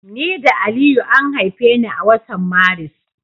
Ni da Aliyu an haife ni a watan Maris.